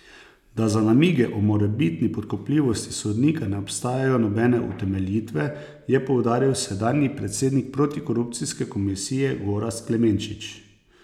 Da za namige o morebitni podkupljivosti sodnika ne obstajajo nobene utemeljitve, je poudaril sedanji predsednik protikorupcijske komisije Gorazd Klemenčič.